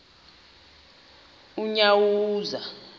unyawuza